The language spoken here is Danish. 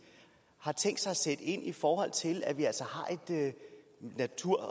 har tænkt sig at sætte ind i forhold til at vi altså har en natur og